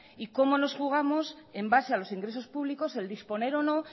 y como nos jugamos en base a los ingresos públicos el disponer o no